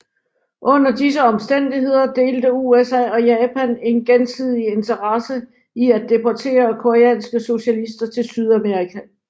Under disse omstændigheder delte USA og Japan en gensidig interesse i at deportere koreanske socialister til Sydkorea